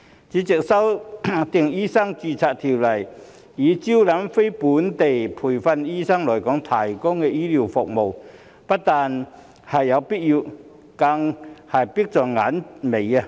主席，修訂《醫生註冊條例》以招攬非本地培訓醫生來港提供醫療服務，不但有必要，更是迫在眉睫。